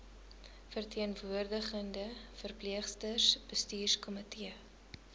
verteenwoordigende verpleegsters bestuurskomitee